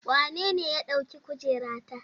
Wanene ya ɗauki kujerata?